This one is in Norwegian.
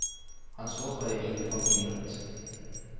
Han så på det hvite papiret.